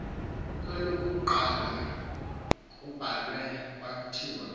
kwelokuqala kubhalwe kwathiwa